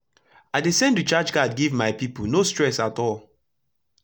i dey send recharge card give my pipo no stress at all